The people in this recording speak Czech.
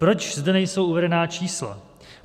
Proč zde nejsou uvedena čísla?